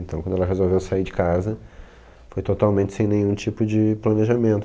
Então, quando ela resolveu sair de casa, foi totalmente sem nenhum tipo de planejamento.